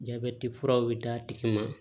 Jabɛti furaw bɛ d'a tigi ma